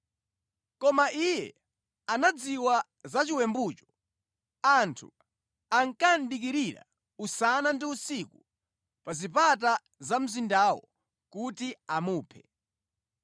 koma iye anadziwa za chiwembucho. Anthu ankadikirira usana ndi usiku pa zipata za mzindawo kuti amuphe.